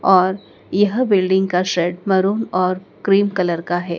और यह बिल्डिंग का शेड मरून और क्रीम कलर का है।